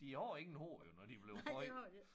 De har ingen hår jo når de blevet fundet